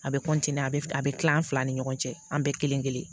A bɛ a bɛ a bɛ kila an fila ni ɲɔgɔn cɛ an bɛɛ kelen kelen